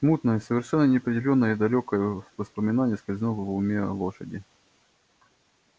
смутное совершенно неопределённое далёкое воспоминание скользнуло в уме лошади